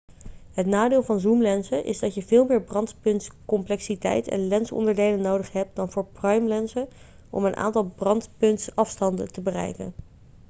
het nadeel van zoomlenzen is dat je veel meer brandpuntscomplexiteit en lensonderdelen nodig hebt dan voor primelenzen om een aantal brandpuntsafstanden te bereiken